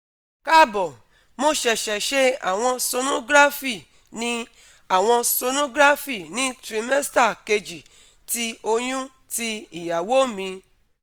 Kaabo, Mo ṣẹṣẹ ṣe awọn sonography ni awọn sonography ni trimester keji ti oyun ti iyawo mi